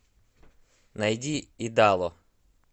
найди идало